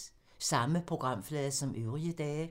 Samme programflade som øvrige dage